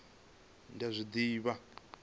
hezwi kha vha zwi livhise